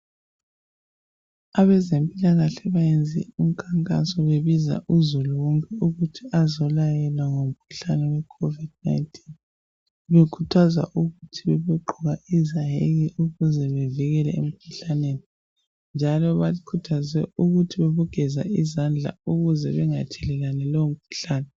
Abezempilakahle bayenze umkhankaso bebiza uzulu wonke ukuthi azelayelwa ngomkhuhlane we covid 19 njalo bekhuthaza ukugqoka izayeke ukuze bevikele lowo mkhuhlane njalo bakhuthazwe ukugeza izandla ukuze bengathelelani lowo mkhuhlane